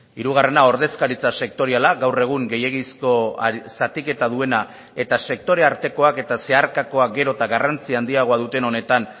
hirugarrena ordezkaritza sektoriala gaur egun gehiegizko zatiketa duena eta sektore artekoak eta zeharkakoak gero eta garrantzi handiagoa duten honetan